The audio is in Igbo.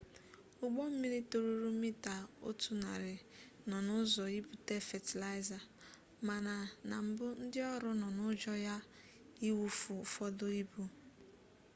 ụgbọ mmiri toruru mita otu narị nọ n'ụzọ ibute fatịlaịza mana na mbụ ndị ọrụ nọ n'ụjọ ya iwufu ụfọdụ ibu